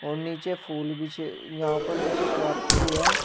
और नीचे फूल बिछे यहां पर नीचे पार्क भी है।